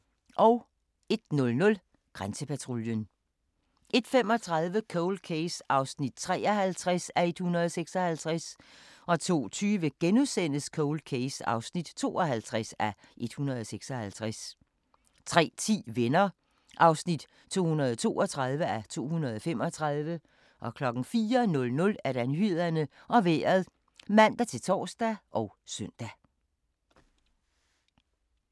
01:00: Grænsepatruljen 01:35: Cold Case (53:156) 02:20: Cold Case (52:156)* 03:10: Venner (232:235) 04:00: Nyhederne og Vejret (man-tor og søn)